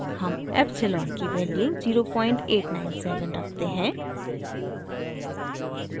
हम epsilon की value 0897 रखते हैं